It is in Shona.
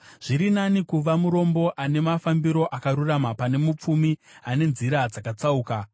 Zviri nani kuva murombo ane mafambiro akarurama pane mupfumi ane nzira dzakatsauka.